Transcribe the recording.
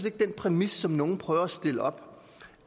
ikke den præmis som nogle prøver at stille op